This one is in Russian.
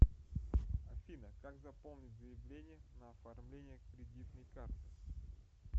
афина как заполнить заявление на оформление кредитной карты